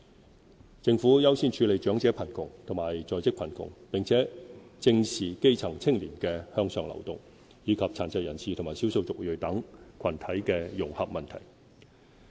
針對長者貧窮和在職貧窮問題，政府在短短4年間推出"長者生活津貼"和"低收入在職家庭津貼"兩個全新的支援計劃。